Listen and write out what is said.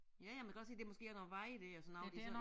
Ja ja men kan godt se det måske er noget vej dér og sådan noget det så